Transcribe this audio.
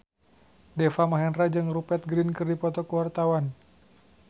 Deva Mahendra jeung Rupert Grin keur dipoto ku wartawan